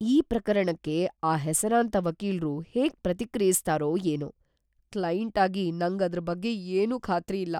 ಈ ಪ್ರಕರಣಕ್ಕೆ ಆ ಹೆಸರಾಂತ ವಕೀಲ್ರು ಹೇಗ್‌ ಪ್ರತಿಕ್ರಿಯಿಸ್ತಾರೋ ಏನೋ.. ಕ್ಲೈಂಟಾಗಿ ನಂಗ್ ಅದ್ರ್‌ ಬಗ್ಗೆ ಏನೂ ಖಾತ್ರಿ ಇಲ್ಲ.